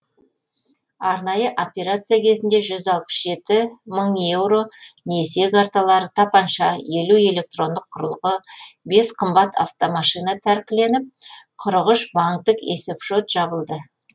арнайы операция кезінде жүз алпыс жеті мың еуро несие карталары тапанша елу электрондық құрылғы бес қымбат автомашина тәркіленіп қырық үш банктік есепшот жабылды